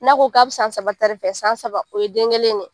N'a ko be san saba ta de fɛ san, san saba o ye den kelen de ye.